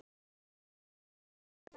dagur jóla.